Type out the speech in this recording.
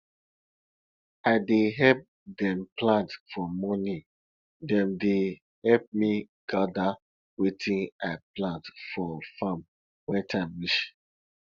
i dey help dem plant for morning dem dey help me gather wetin i plant for farm when time reach